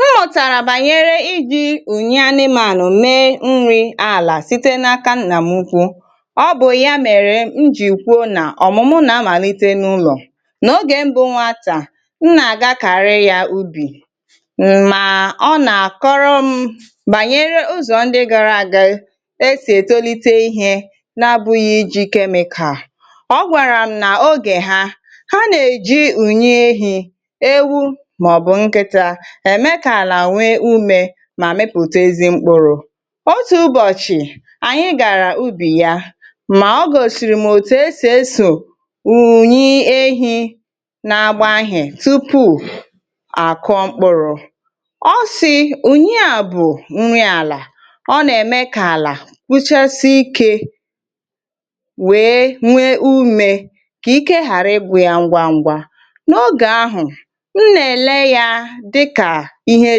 M mụtara banyere iji ùnyị anịmanya mee nri ala site n’aka nna m ụkwụ, ọ bụ ya mere m ji kwuo na ọmụmụ na-amalite n’ụlọ. N’ogè mbụ nwatakịrị m na-aga kari ya ubi ma ọ kọrọ m banyere ụzọ ndị gara aga esi etolite ihe na-abụghị iji chemical. Ọkwara m na ogè ha, ha na-eji ùnyị ehi, ewu, ma ọ bụ nkịta eme ka ala nwe ụme ma mepụta ezi mkpụrụ. Otu ụbọchị anyị gara ubi ya, ma ọ gọsịrị m òtù esi eso ùnyị ehi na agba ihe tupu akọ mkpụrụ. Ọ si ùnyị a bụ nri ala, ọ na-eme ka ala kpuchasịe ike nwe nwe ụme, ka ike ghara ị gwụ ya ngwa ngwa. N’ogè ahụ m n’ele ya dịka ihe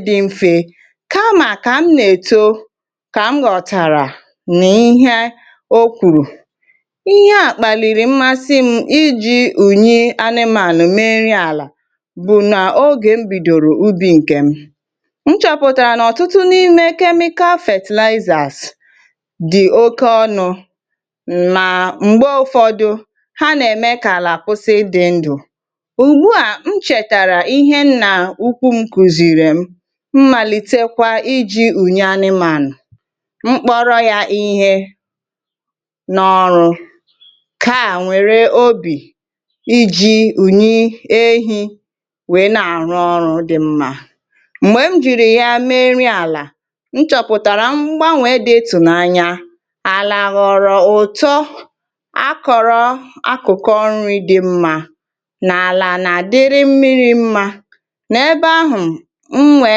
di mfe kamaka m na-etọ, ka m ghọtara n’ihe okwụrụ. Ihe a kpàlịrị mmasị m ịji ùnyị anịmalụ mee nri ala, bụ na ogè m bidọrọ ubi nke m nchọpụtara na ọtụtụ n’ime chemical fatịlaịzara di oke ọnụ ma mgbè ụfọdụ ha na-eme ka ala kwụsị ịdị ndụ. Ụgbụ a nchetara ihe nna ukwu m kụziri m, mmalite kwa iji ùnyị anịmanya, mkpọrọ ya ihe na ọrụ ka a nwere obi iji ùnyị ehi wee na-arụ ọrụ dị mma. Mgbè m jịrị ya mee nri ala, nchọpụtara mgbanwee dị ụtọnya, ala ghọrọ ụtọ akọrọ akụkọ nri dị mma, na ala na dịrị mmiri mma. N’ebe ahụ m nwe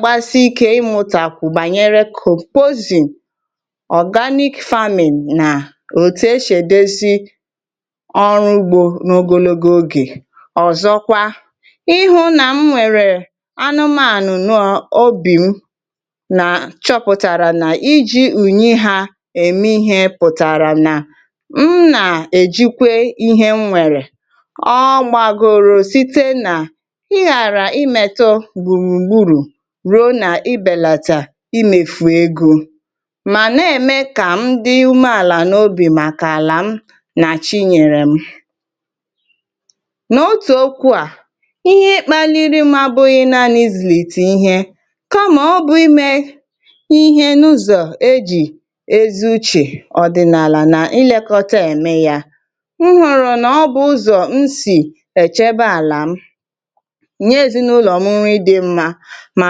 gbasị ike ịmụta kwụ banyere compozim organic farming na òtù esi edosi ọrụ ugbo n’ogologo ogè. Ọzọkwa, ịhụ na m nwere anụmanya nụọ obi m na, chọpụtara na iji ùnyị ha eme ihe pụtara na m na-ejikwe ihe m nwere, ọ gbàgoro site na ị ghara imetọ gburu gburu ruo na ịbelata ime fụ ego ma na-eme ka m dị ume ala n’obì maka ala m na chinyere m. N’otu okwu a, ihe kpaliri m abụghị naanị izulite ihe ka ma ọ bụ ime ihe n’ụzọ ejị ezi ùche ọdịnala na ilekọta eme ya, m hụrụ na ọ bụ ụzọ m si ẹchebe ala m nye ezinụlọ m nri dị mma ma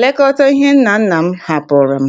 lekọta ihe nna nna m hapụrụ m.